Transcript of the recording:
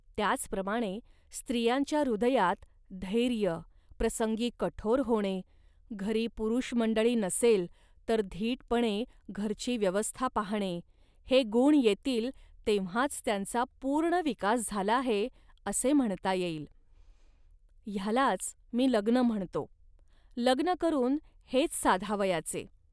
त्याचप्रमाणे स्त्रियांच्या हृदयात धैर्य, प्रसंगी कठोर होणे, घरी पुरुषमंडळी नसेल, तर धीटपणे घरची व्यवस्था पाहणे, हे गुण येतील, तेव्हाच त्यांचा पूर्ण विकास झाला आहे, असे म्हणता येईल. ह्यालाच मी लग्न म्हणतो, लग्न करून हेच साधावयाचे